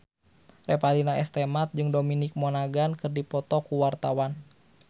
Revalina S. Temat jeung Dominic Monaghan keur dipoto ku wartawan